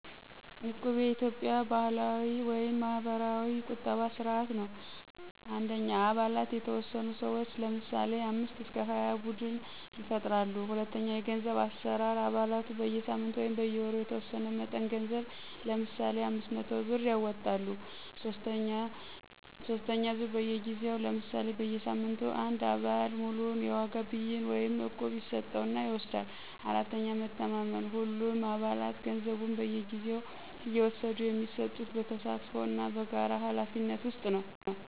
"እቁብ" የኢትዮጵያ ባህላዊ (ማህበራዊ ቁጠባ ስርዓት) ነው። 1. አባላት የተወሰኑ ሰዎች (ለምሳሌ 5-20) ቡድን ይፈጥራሉ። 2. የገንዘብ አሠራር አባላቱ በየሳምንቱ/ወሩ የተወሰነ መጠን ገንዘብ (ለምሳሌ 500 ብር) ያዋጣሉ። 3. ዙርያ በየጊዜው (ለምሳሌ በየሳምንቱ) አንድ አባል ሙሉውን የዋጋ ብይን (እቁብ) ይስጠው እና ይወስዳል። 4. መተማመን ሁሉም አባላት ገንዘቡን በየጊዜው እየወሰዱ የሚሰጡት በተሳትፎ እና በጋራ ኃላፊነት ውስጥ ነው።